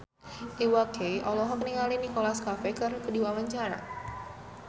Iwa K olohok ningali Nicholas Cafe keur diwawancara